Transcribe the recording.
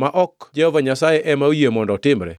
ma ok Jehova Nyasaye ema oyie mondo otimre?